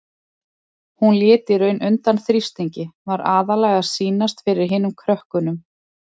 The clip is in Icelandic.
Hún lét í raun undan þrýstingi, var aðallega að sýnast fyrir hinum krökkunum.